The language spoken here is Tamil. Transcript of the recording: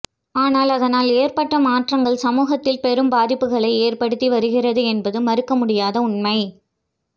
ஆனால் அதனால் ஏற்பட்ட மாற்றங்கள் சமூகத்தில் பெரும் பாதிப்புகளை ஏற்படுத்தி வருகிறது என்பது மறுக்க முடியாத உண்மை